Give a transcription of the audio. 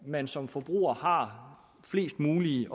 man som forbruger har flest mulige